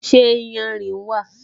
Ṣé iyanrìn wà?